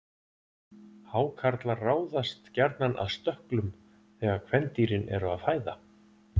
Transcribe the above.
Hákarlar ráðast gjarnan að stökklum þegar kvendýrin eru að fæða.